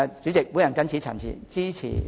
主席，我謹此陳辭，支持致謝議案。